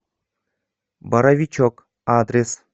боровичок адрес